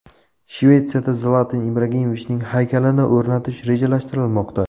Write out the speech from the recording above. Shvetsiyada Zlatan Ibrahimovichning haykalini o‘rnatish rejalashtirilmoqda .